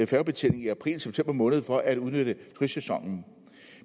færgebetjening i april og september måned for at udnytte frisæsonen